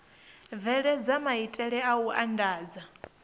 bveledza maitele a u andadza